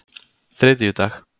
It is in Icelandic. þriðjudag